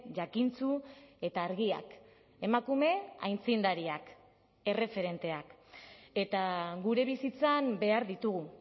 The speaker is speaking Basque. jakintsu eta argiak emakume aitzindariak erreferenteak eta gure bizitzan behar ditugu